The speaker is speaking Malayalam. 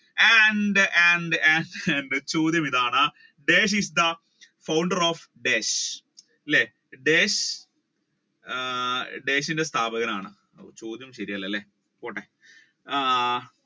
and and and ചോദ്യം ഇതാണ് is the founder of desh അല്ലെ ദേശ് ആഹ് ദേശിന്റെ സ്ഥാപകനാണ് ചോദ്യം ശരി അല്ലലെ പോട്ടെ ആഹ്